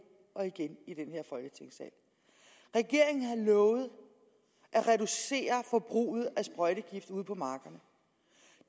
og igen i den her folketingssal regeringen har lovet at reducere forbruget af sprøjtegifte ude på markerne